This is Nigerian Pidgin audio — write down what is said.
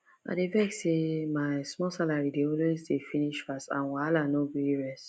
i dey vex say my small salary de always dey finish fast and wahala no gree rest